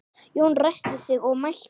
Jón ræskti sig og mælti